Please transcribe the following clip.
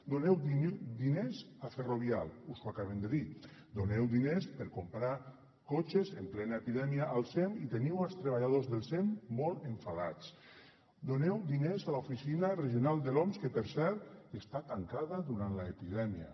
doneu diners a ferro vial us ho acabem de dir doneu diners per comprar cotxes en plena epidèmia al sem i teniu els treballadors del sem molt enfadats doneu diners a l’oficina regional de l’oms que per cert està tancada durant l’epidèmia